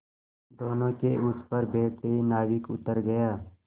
दोेनों के उस पर बैठते ही नाविक उतर गया